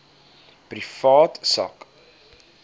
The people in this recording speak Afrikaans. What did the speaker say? privaat sak